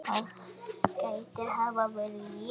það gæti hafa verið ég